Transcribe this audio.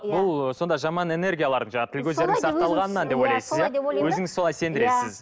бұл ыыы сонда жаман энегиялар жаңағы тіл көзден сақталғанынан деп ойлайсыз иә өзіңіз солай сендіресіз